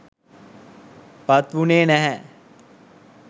පත් වුනේ නැහැ.